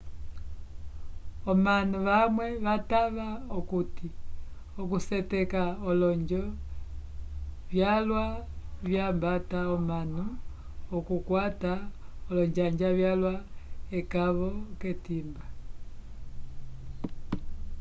omanu vamwe vatava okuti okuseteka olonjo vyalwa vyambata omanu okukwata olonjanja vyalwa ekavo k'etimba